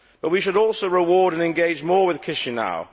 But we should also reward and engage more with Chisinau.